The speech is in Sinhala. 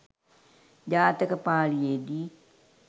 ජාතක පාලියේදී